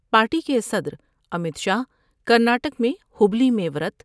party کے صدر Amit Shah Karnataka میں ہبلی میں ورت